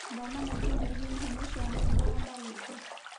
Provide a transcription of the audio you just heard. Thoma maingĩ megiĩ ihumo cia mũrimũ wa marũngo